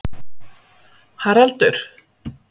Haraldur